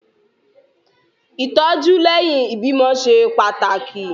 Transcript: Ìtọ́jú lẹ́yìn ìbímọ ṣe pàtàkì.